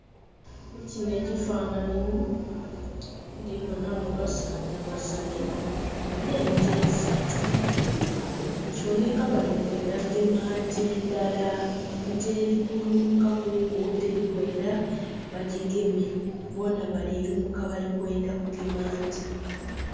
mukinho ekifanhanhi ndhibonhamu basaadha basatu n'ente isatu, kiboneka balikwendha kugema nte ndhala. Nte eri kulumukakuku teri kwendha bagigeme, boonha bali lumuka balikwendha kugema nte.